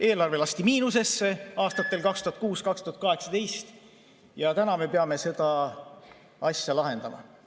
Eelarve lasti miinusesse aastatel 2016–2018 ja täna me peame seda asja lahendama.